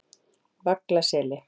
Vaglaseli